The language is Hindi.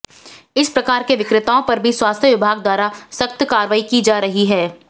इस प्रकार के विक्रेताओं पर भी स्वास्थ्य विभाग द्वारा सख्त कार्रवाई की जा रही है